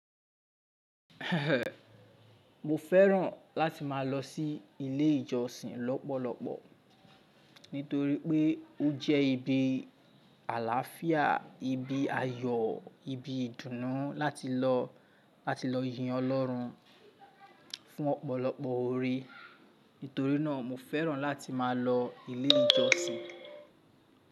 Mo fẹ́ràn láti má a lọ sí ilé ìjọsìn lọ́pọ̀lọ́pọ̀, nítorí pé ó jẹ́ ibi àlàáfíà, ibi ayọ̀, ibi ìdùnnú láti lọ, láti lọ yin Ọlọ́run fún ọ̀pọ̀lọpọ̀ orí. Nítorínà, mo fẹ́ràn láti má a lọ ilé ìjọsìn.